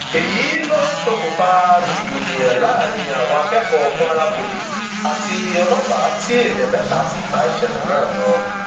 èyí ló ṣokùnfà rògbòdìyàn láàrin àwọn akẹkọọ kwara poli àti ọlọpàá tí èèyàn mẹta sì bá ìṣẹlẹ náà lọ